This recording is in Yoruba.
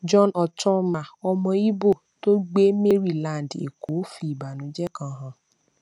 john ochonma ọmọ imo tó gbé maryland èkó fi ìbànújẹ kan hàn